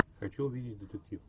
хочу увидеть детектив